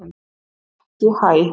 Ekki HÆ!